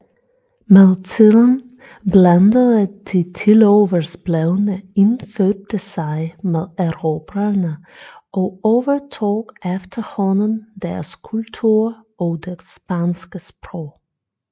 Med tiden blandede de tiloversblevne indfødte sig med erobrerne og overtog efterhånden deres kultur og det spanske sprog